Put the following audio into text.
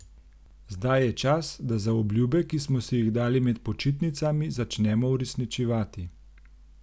Zdaj je čas, da zaobljube, ki smo si jih dali med počitnicami, začnemo uresničevati.